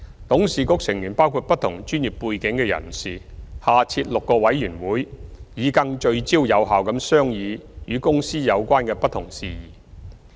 董事局成員包括不同專業背景的人士，下設6個委員會，以更聚焦有效地商議與公司有關的不同事宜。